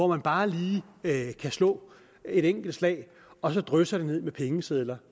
man bare lige kan slå et enkelt slag og så drysser det ned med pengesedler